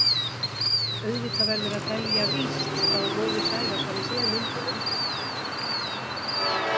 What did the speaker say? Auðvitað verður að telja víst að móðir Sævars hafi séð myndina.